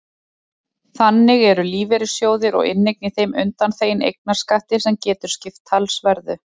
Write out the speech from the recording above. Þannig eru lífeyrissjóðir og inneign í þeim undanþegin eignarskatti sem getur skipt talsverðu.